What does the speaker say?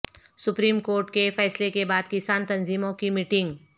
supreme court کے فیصلے کے بعد کسان تنظیموں کی میٹنگ